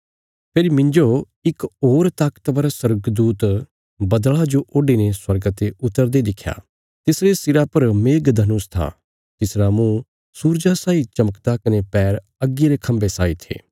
फेरी मिन्जो इक होर ताकतवर स्वर्गदूत बद्दल़ा जो ओडीने स्वर्गा ते उतरदे दिखया तिसरे सिरा पर मेघधनुष था तिसरा मुँह सूरजा साई चमकदा कने पैर अग्गी रे खम्बे साई थे